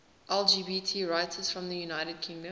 lgbt writers from the united kingdom